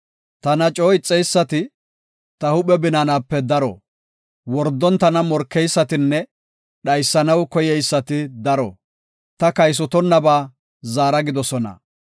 Tana coo ixeysati ta huuphe binaanape daro; Wordon tana morkeysatinne dhaysanaw koyeysati daro; ta kaysotonnaba zaara gidoosona.